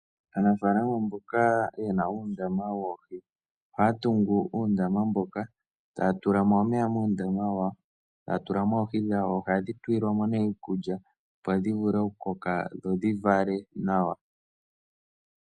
Aanafalama mboka yena uundama woohi ohaya tungu uundama mboka taya tulamo omeya noohi dhawo. Ohadhi tulilwamo nee iikulya opo dhivule okukoka dho dhivale nawa.